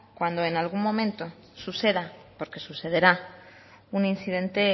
cuando en algún momento suceda porque sucederá un incidente